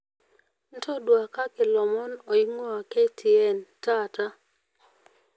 ntotuakaki lomon oingwaa k. t.n taata